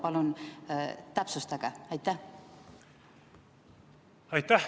Palun täpsustage!